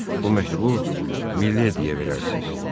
Bu məktubu Milli edəyə verərsiz.